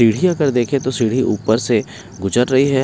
सीढ़ी अगर देखें तो सीढ़ी ऊपर से गुजर रही है।